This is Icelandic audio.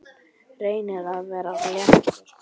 Reynir að vera léttur.